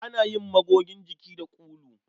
Ana yin magogin jiki da ulu.